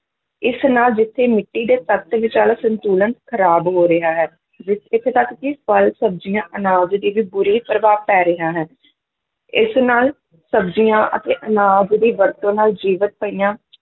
ਇਸ ਨਾਲ ਜਿੱਥੇ ਮਿੱਟੀ ਦੇ ਤੱਤ ਵਿਚਲਾ ਸੰਤੁਲਨ ਖਰਾਬ ਹੋ ਰਿਹਾ ਹੈ, ਵੀ ਇੱਥੇ ਤੱਕ ਕਿ ਫਲ, ਸਬਜ਼ੀਆਂ, ਅਨਾਜ ਤੇ ਵੀ ਬੁਰੇ ਪ੍ਰਭਾਵ ਪੈ ਰਿਹਾ ਹੈ ਇਸ ਨਾਲ ਸਬਜ਼ੀਆਂ ਅਤੇ ਅਨਾਜ ਦੀ ਵਰਤੋਂ ਨਾਲ ਜੀਵਿਤ ਪਈਆਂ